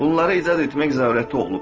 Bunlara icazə etmək zərurəti olub.